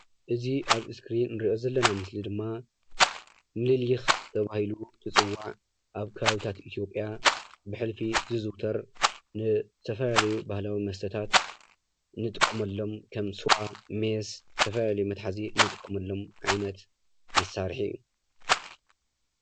እዚ ኣብ እስክሪን ንሪኦ ዘለና ምስሊ ድማ ምሊሊኽ ተባሂሉ ዝፅዋዕ ኣብ ከባቢታት ኢትዮጵያ ብሕልፊ ዝዝውተር ንተፈላለዩ ባህላዊ መስተታት ንጥቀመሎም ከም ስዋ፣ ሜስ፣ ዝተፈላለየ መትሓዚ ንጥቀመሎም ዓይነት መሳርሒ እዩ፡፡